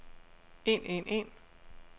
en en en